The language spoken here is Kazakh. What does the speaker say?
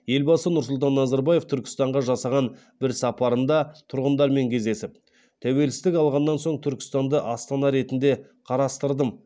елбасы нұрсұлтан назарбаев түркістанға жасаған бір сапарында тұрғындармен кездесіп тәуелсіздік алғаннан соң түркістанды астана ретінде қарастырдым